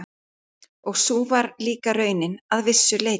Og sú var líka raunin að vissu leyti.